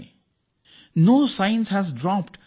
ಮಹಾತ್ಮಾ ಗಾಂಧಿ ಅವರು ಪದೇ ಪದೇ ಹೇಳುತ್ತಿದ್ದರು